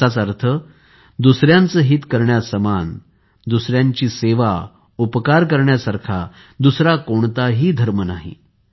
याचाच अर्थ दुसऱ्यांचे हित करण्यासमान दुसऱ्यांची सेवा उपकार करण्यासारखा दुसरा कोणताही धर्म नाही